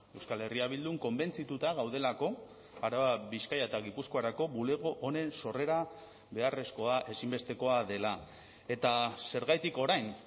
euskal herria bildun konbentzituta gaudelako araba bizkaia eta gipuzkoarako bulego honen sorrera beharrezkoa ezinbestekoa dela eta zergatik orain